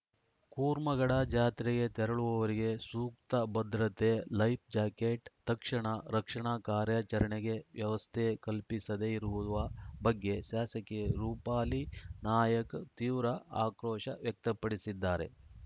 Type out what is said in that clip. ಕೂರ್ಮಗಡ ಜಾತ್ರೆಗೆ ತೆರಳುವವರಿಗೆ ಸೂಕ್ತ ಭದ್ರತೆ ಲೈಫ್‌ ಜಾಕೆಟ್‌ ತಕ್ಷಣ ರಕ್ಷಣಾ ಕಾರ್ಯಾಚರಣೆಗೆ ವ್ಯವಸ್ಥೆ ಕಲ್ಪಿಸದೆ ಇರುವ ಬಗ್ಗೆ ಶಾಸಕಿ ರೂಪಾಲಿ ನಾಯ್ಕ ತೀವ್ರ ಆಕ್ರೋಶ ವ್ಯಕ್ತಪಡಿಸಿದ್ದಾರೆ